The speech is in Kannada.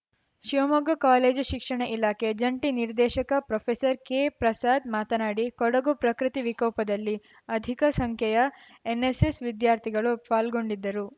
ಶಿವಮೊಗ್ಗ ಕಾಲೇಜು ಶಿಕ್ಷಣ ಇಲಾಖೆ ಜಂಟಿ ನಿರ್ದೇಶಕ ಪ್ರೊಫೆಸರ್ ಕೆಪ್ರಸಾದ್‌ ಮಾತನಾಡಿ ಕೊಡಗು ಪ್ರಕೃತಿ ವಿಕೋಪದಲ್ಲಿ ಅಧಿಕ ಸಂಖ್ಯೆಯ ಎನ್‌ಎಸ್‌ಎಸ್‌ ವಿದ್ಯಾರ್ಥಿಗಳು ಪಾಲ್ಗೊಂಡಿದ್ದರು